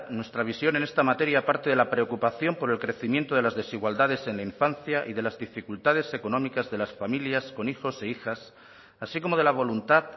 nuestra visión en esta materia parte de la preocupación por el crecimiento de las desigualdades en la infancia y de las dificultades económicas de las familias con hijos e hijas así como de la voluntad